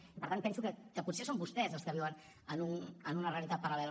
i per tant penso que potser són vostès els que viuen en una realitat paral·lela